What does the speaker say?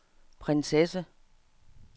prinsesse